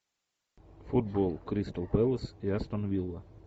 футбол кристал пэлас и астон вилла